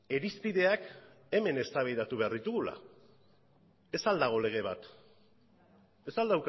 irizpideak hemen eztabaidatu behar ditugula ez al dago lege bat ez al